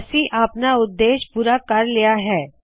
ਅਸੀ ਆਪਣਾ ਉੱਦੇਸ਼ ਪੂਰਾ ਕਰ ਲਇਆ ਹੈ